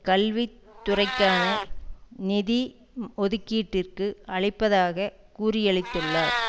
கல்வி துறைக்கான நிதி ஒதுக்கீட்டிற்கு அளிப்பதாக கூறியளித்துள்ளார்